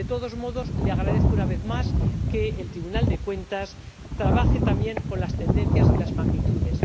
De todos modos, le agradezco una vez más que el Tribunal de Cuentas trabaje también con las tendencias y las magnitudes.